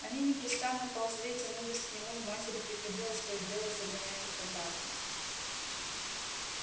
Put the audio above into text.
они непрестанно ползли и тянулись к нему и матери приходилось то и дело загонять их обратно